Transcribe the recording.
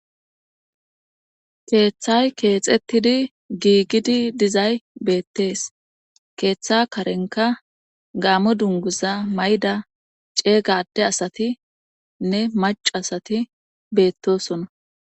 keeththay keexettidi giigidi dizay beettees keeththa karenka gaamo dunguza mayda ceegade asati nne macasati beettosona